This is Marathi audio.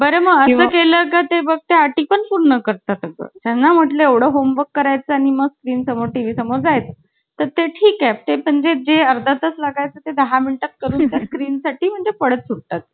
आणि जी मलाना ती आवडायचं उखळून मानलेली सर्वे अवती ते मस्त वाटायचं माहित्ये? ते म्हणे